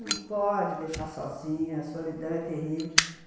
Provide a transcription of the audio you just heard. Não pode deixar sozinha, solidão é terrível.